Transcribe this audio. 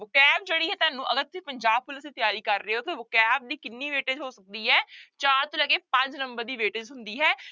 Vocab ਜਿਹੜੀ ਹੈ ਤੁਹਾਨੂੰ ਅਗਰ ਤੁਸੀਂ ਪੰਜਾਬ ਪੁਲਿਸ ਦੀ ਤਿਆਰੀ ਕਰ ਰਹੇ ਹੋ ਤੇ vocabulary ਦੀ ਕਿੰਨੀ ਹੋ ਸਕਦੀ ਹੈ ਚਾਰ ਤੋਂ ਲੈ ਕੇ ਪੰਜ number ਦੀ ਹੁੰਦੀ ਹੈ।